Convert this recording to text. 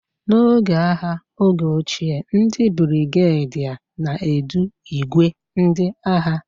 N'oge agha oge ochie, ndị brigadier na-edu ìgwè ndị agha